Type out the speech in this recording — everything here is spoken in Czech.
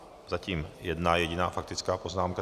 Zatím jedna jediná faktická poznámka.